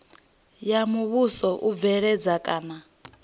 ya muvhuso u bveledza kana